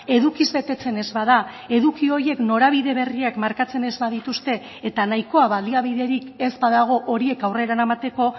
edukiz betetzen ez bada eduki horiek norabide berriak markatzen ez badituzte eta nahikoa baliabiderik ez badago horiek aurrera eramateko